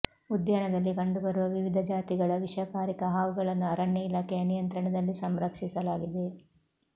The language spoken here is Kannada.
ಉದ್ಯಾನದಲ್ಲಿ ಕಂಡುಬರುವ ವಿವಿಧ ಜಾತಿಗಳ ವಿಷಕಾರಿ ಹಾವುಗಳನ್ನು ಅರಣ್ಯ ಇಲಾಖೆಯ ನಿಯಂತ್ರಣದಲ್ಲಿ ಸಂರಕ್ಷಿಸಲಾಗಿದೆ